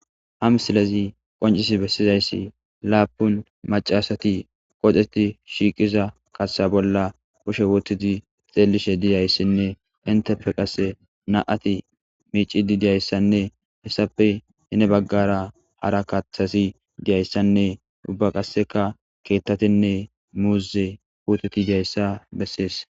hamsilezi qoncisi bessizayssi laapun macasati qoxeti shiiqiza kaththa bolla kushe wotidi xeellishe diyayssinne intepe qasse na7ati miicidi diyayssanne hessappe hine baggara hara kathasi diyayssanne ubba qasseka keettatinne muuze kuuteti diyayssa bessees